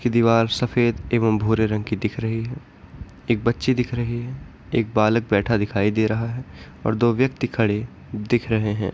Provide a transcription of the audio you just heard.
जिसकी दीवार सफेद और भूरे रंग की दिख रही है एक बच्चे दिख रहे है एक बालक बैठा दिखाई दे रहा है और दो व्यक्ति खड़े दिख रहे हैं।